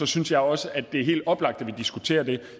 synes jeg også at det er helt oplagt at vi diskuterer det